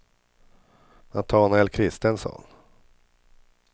Natanael Kristensson